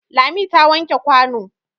Lami ta wanke kwano.